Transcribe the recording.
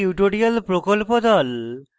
spoken tutorial প্রকল্প the